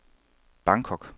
Bangkok